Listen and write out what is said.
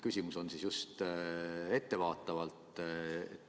Küsimus on ettevaatav.